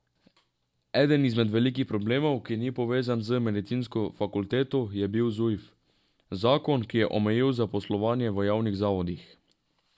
Eden izmed velikih problemov, ki ni povezan z medicinsko fakulteto, je bil zujf, zakon, ki je omejil zaposlovanje v javnih zavodih.